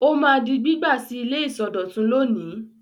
Ó máa di gbígbà sí ilé ìsọdọ̀tun lónìí.